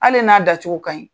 Hali n'a da cogo ka ɲi.